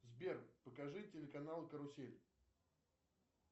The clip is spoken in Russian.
сбер покажи телеканал карусель